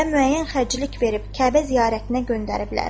Xətibə müəyyən xərclik verib Kəbə ziyarətinə göndəriblər.